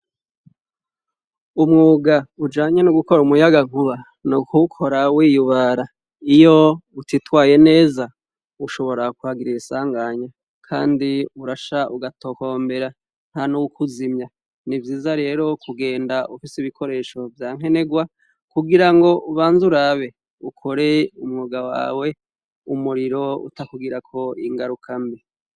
Umwuga ujanye n'ugukora umuyagankuba, n'ukiwukora wiyubara, iyo utitwaye neza ushonora kuhagirira isanganya Kandi urasha ugatokombera ntanuwukuzimya. Ni vyiza rero kugenda ufise ibikoresho vya nkenerwa kugirango ubanze urabe ukore umwuga wawe umuriro utakugirako ingarukambi.